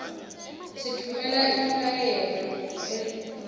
sitfumela imiyaleto ngabo